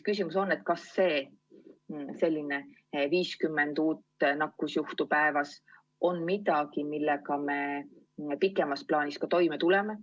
Küsimus on, kas 50 uut nakkusjuhtu päevas on midagi, millega me pikemas plaanis ka toime tuleme.